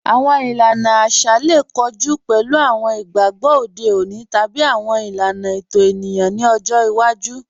Awọn ìlàna àṣà lè kọ̀jù pẹ̀lú awọn ìgbàgbọ̀ òde ọ̀nì tàbí awọn ìlàna ẹ̀tọ̀ ènìyàn nì ọ̀jọ́ ìwàjú.